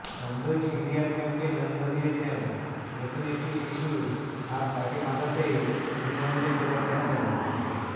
সদ্যই সিরিয়ার ক্যাম্পে জন্ম দিয়েছেন নতুন একটি শিশুর আর তাকে বাঁচাতেই ইংল্যান্ডে ফেরার কথা জানিয়েছেন